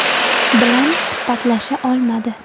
bilan suhbatlasha olmadi.